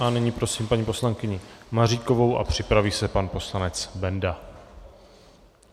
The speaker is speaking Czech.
A nyní prosím paní poslankyni Maříkovou a připraví se pan poslanec Benda.